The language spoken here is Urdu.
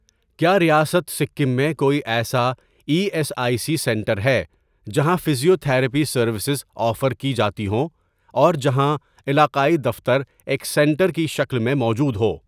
کیا ریاست سکم میں کوئی ایسا E S I C centre ہے جہاں فزیوتھراپی سروسز آفر کی جاتی ہوں اور جہاں علاقائی دفتر ایک سینٹر کی شکل میں موجود ہو؟